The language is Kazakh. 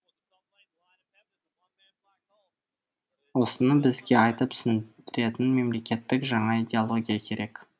осыны бізге айтып түсіндіретін мемлекеттік жаңа идеология керек